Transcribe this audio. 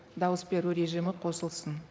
дауыс беру режимі қосылсын